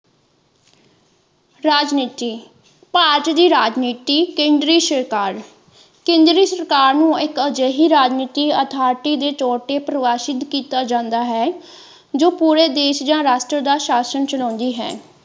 ਰਾਜਨੀਤੀ ਭਾਰਤ ਦੀ ਰਾਜਨੀਤੀ ਕੇਂਦਰੀ ਸਰਕਾਰ ਕੇਂਦਰੀ ਸਰਕਾਰ ਨੂੰ ਇੱਕ ਅਜਿਹੀ ਰਾਜਨੀਤੀ ਅਥਾਰਿਟੀ ਦੇ ਤੋਰ ਤੇ ਪ੍ਰਵਾਸ਼ਿਤ ਕੀਤਾ ਜਾਂਦਾ ਹੈ ਜੋ ਪੂਰੇ ਦੇਸ਼ ਦਾ ਰਾਸ਼ਟਰ ਦਾ ਸ਼ਾਸਨ ਚਲਾਉਂਦੀ ਹੈ।